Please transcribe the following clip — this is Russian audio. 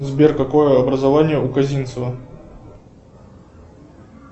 сбер какое образование у козинцева